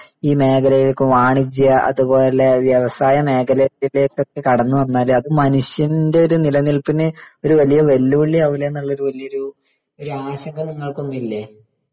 ഈ മേഖലയിലേക്ക് വാണിജ്യ അതുപോലെ വ്യവസായ മേഖലയിലേക്ക് കടന്നു വന്നാല് അപ്പൊ മനുഷ്യന്റെ ഒരു നിലനിൽപ്പിന് ഒരു വലിയ വെല്ലുവിളി ആവൂലെ എന്നുള്ള വലിയൊരു ആശങ്ക നിങ്ങൾക്കൊന്നും ഇല്ലേ